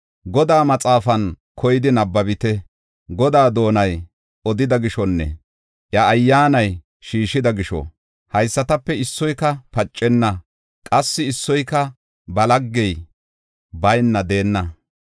Godaa maxaafan koyidi nabbabite. Godaa doonay odida gishonne iya ayyaanay shiishida gisho, haysatape issoyka pacenna; qassi issoyka ba laggey bayna deenna.